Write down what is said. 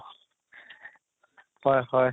হয় হয়